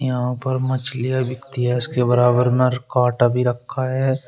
यहां पर मछलियां बिकती है इसके बराबर नरकाटा भी रखा है।